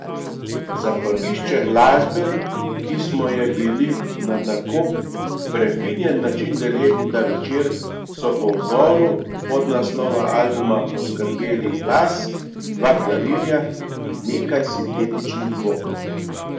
Za prgišče glasbe, ki smo je bili na tako prefinjen način deležni ta večer, so po vzoru podnaslova albuma poskrbeli glas, dva klavirja in nekaj sintetičnih zvokov.